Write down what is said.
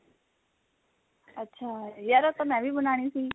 ਅੱਛਾ ਯਾਰ ਉਹ ਤਾਂ ਮੈਂ ਵੀ ਬਨਾਨੀ ਸੀ